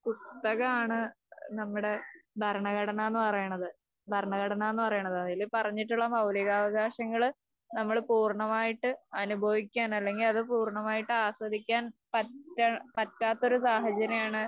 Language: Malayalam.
പുസ്തകമാണ് നമ്മുടെ ഭരണഘടന എന്ന് പറയുന്നത്. ഭരണഘടന എന്നുപറയുന്നത് . അതില് പറഞ്ഞിട്ടുള്ള മൗലികാവകാശങ്ങള് നമ്മള് പൂര്ണമായിട്ട് അനുഭവിക്കാൻ അല്ലെങ്കിൽ അത് പൂര്ണമായിട്ട് ആസ്വദിക്കാൻ പറ്റാ പറ്റാത്തൊരു സാഹചര്യമാണ്